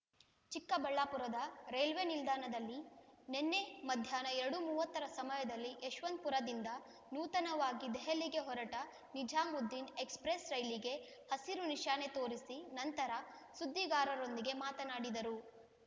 ಚಿಕ್ಕಬಳ್ಳಾಪುರದ ರೈಲ್ವೆ ನಿಲ್ದಾಣದಲ್ಲಿ ನಿನ್ನೆ ಮಧ್ಯಾಹ್ನ ಎರಡು ಮೂವತ್ತರ ಸಮಯದಲ್ಲಿ ಯಶವಂತಪುರದಿಂದ ನೂತನವಾಗಿ ದೆಹಲಿಗೆ ಹೊರಟ ನಿಜಾಮುದ್ದೀನ್ ಎಕ್ಸ್‌ಪ್ರೆಸ್ ರೈಲಿಗೆ ಹಸಿರು ನಿಶಾನೆ ತೋರಿಸಿ ನಂತರ ಸುದ್ದಿಗಾರರೊಂದಿಗೆ ಮಾತನಾಡಿದರು